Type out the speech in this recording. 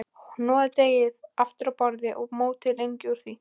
Hnoðið deigið aftur á borði og mótið lengjur úr því.